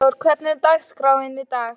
Freyþór, hvernig er dagskráin í dag?